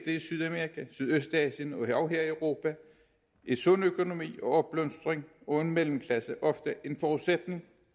i sydamerika sydøstasien og endog her i europa er en sund økonomi en opblomstring og en mellemklasse ofte en forudsætning